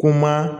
Kuma